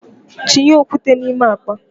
Tinye okwute na ime akpa!